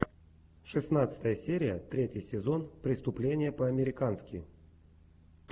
шестнадцатая серия третий сезон преступление по американски